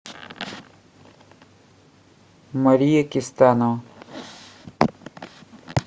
мария кистанова